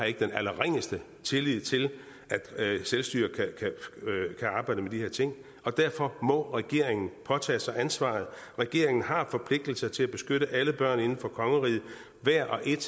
ikke den allerringeste tillid til at selvstyret kan arbejde med de her ting og derfor må regeringen påtage sig ansvaret regeringen har forpligtelser til at beskytte alle børn inden for kongeriget hvert og et